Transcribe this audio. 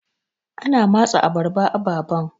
ana matse abarba ababan